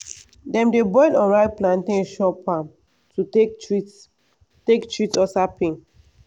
dem dey boil unripe plantain chop am to take treat take treat ulcer pain.